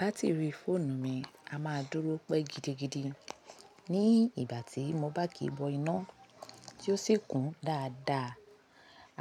Batiri fóònù mi a máa dúró pẹ́ gidigidi ní ìgbà tí mo bá kí bọ iná tí ó sì kún dáadáa.